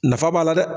Nafa b'a la dɛ